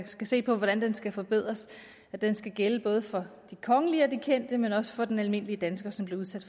skal se på hvordan skal forbedres skal gælde både for de kongelige og de kendte men også for den almindelige dansker som bliver udsat